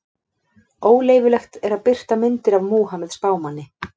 Óleyfilegt er að birta myndir af Múhameð spámanni.